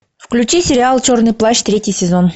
включи сериал черный плащ третий сезон